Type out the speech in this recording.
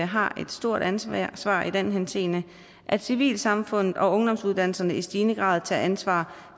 har et stort ansvar ansvar i den henseende at civilsamfundet og ungdomsuddannelserne i stigende grad tager ansvaret